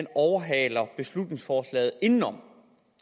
overhaler beslutningsforslaget indenom